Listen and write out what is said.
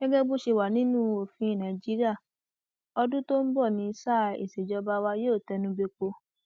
gẹgẹ bó ṣe wà nínú òfin nàìjíríà ọdún tó ń bọ ní sáà ìsejọba wàá yóò tẹnu bẹpọ